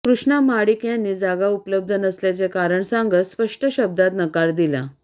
कृष्णा महाडिक यांनी जागा उपलब्ध नसल्याचे कारण सांगत स्पष्ट शब्दात नकार दिला